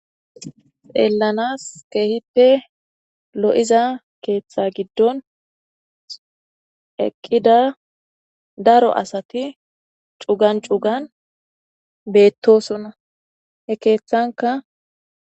Xeelanas keehippe lo'iza keetha gidon eqqida daro asati cugan cugan beetosona he keethanka.